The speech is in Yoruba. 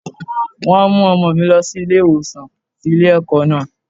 Wọ́n mú ọmọ mi lọ sí ilé ìwòsàn tí ilé ẹ̀kọ́ náà.